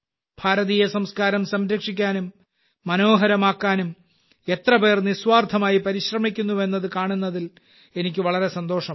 ഭാരതീയ സംസ്കാരം സംരക്ഷിക്കാനും മനോഹരമാക്കാനും എത്രപേർ നിസ്വാർത്ഥമായി പരിശ്രമിക്കുന്നുവെന്നത് കാണുന്നതിൽ എനിക്ക് വളരെ സന്തോഷമുണ്ട്